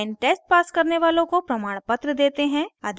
online test pass करने वालों को प्रमाणपत्र देते हैं